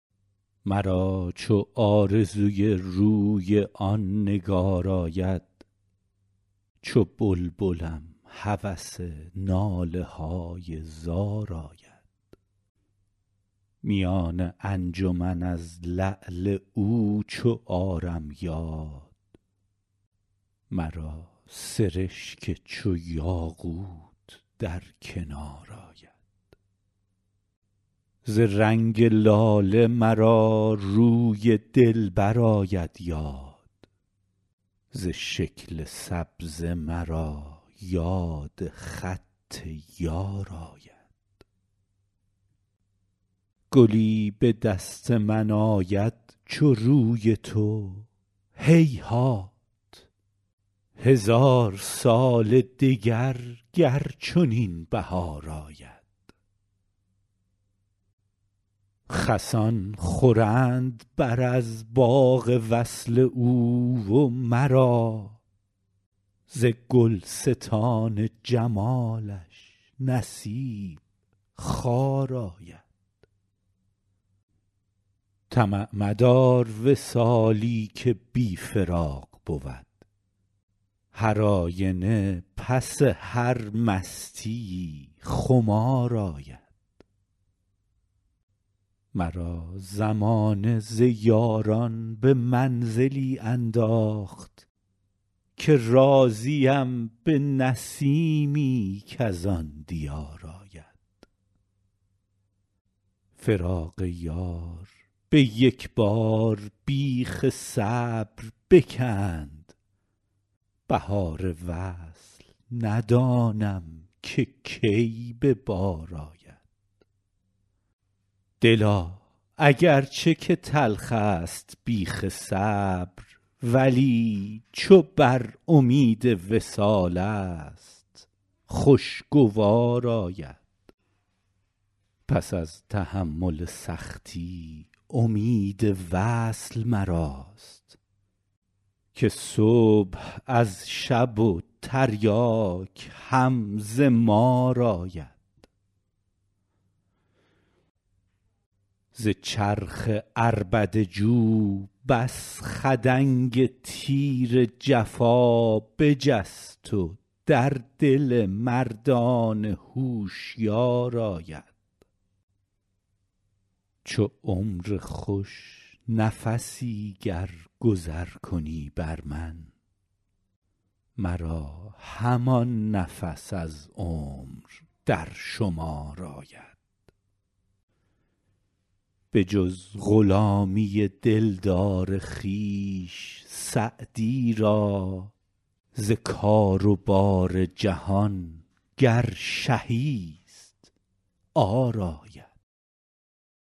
مرا چو آرزوی روی آن نگار آید چو بلبلم هوس ناله های زار آید میان انجمن از لعل او چو آرم یاد مرا سرشک چو یاقوت در کنار آید ز رنگ لاله مرا روی دلبر آید یاد ز شکل سبزه مرا یاد خط یار آید گلی به دست من آید چو روی تو هیهات هزار سال دگر گر چنین بهار آید خسان خورند بر از باغ وصل او و مرا ز گلستان جمالش نصیب خار آید طمع مدار وصالی که بی فراق بود هرآینه پس هر مستیی خمار آید مرا زمانه ز یاران به منزلی انداخت که راضیم به نسیمی کز آن دیار آید فراق یار به یک بار بیخ صبر بکند بهار وصل ندانم که کی به بار آید دلا اگر چه که تلخست بیخ صبر ولی چو بر امید وصالست خوشگوار آید پس از تحمل سختی امید وصل مراست که صبح از شب و تریاک هم ز مار آید ز چرخ عربده جو بس خدنگ تیر جفا بجست و در دل مردان هوشیار آید چو عمر خوش نفسی گر گذر کنی بر من مرا همان نفس از عمر در شمار آید بجز غلامی دلدار خویش سعدی را ز کار و بار جهان گر شهی ست عار آید